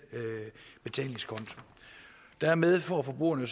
betalingskonto dermed får forbrugerne